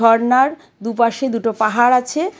ঝরনার দুপাশে দুটো পাহাড় আছে.